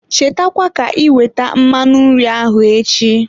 Cheta kwa ka iwete mmanụ nri ahụ echi.